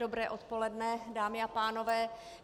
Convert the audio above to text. Dobré odpoledne, dámy a pánové.